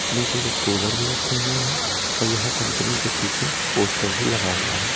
नीचे कुछ कूलर भी रखे हुए हैं और यहां कंपनी के पीछे पोस्टर भी लगा हुआ है।